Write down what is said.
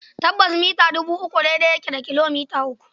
Tabbas, mita dubi uku daidai yake da kilomita uku.